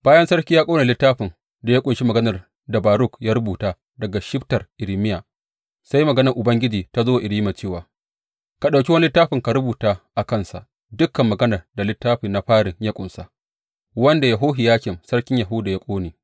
Bayan sarki ya ƙone littafin da ya ƙunshi maganar da Baruk ya rubuta daga shibtar Irmiya, sai maganar Ubangiji ta zo wa Irmiya cewa, Ka ɗauki wani littafi ka rubuta a kansa dukan maganar da littafi na farin ya ƙunsa, wanda Yehohiyakim sarkin Yahuda ya ƙone.